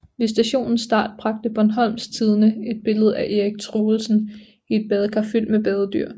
Ved stationens start bragte Bornholms Tidende et billede af Erik Truelsen i et badekar fyldt med badedyr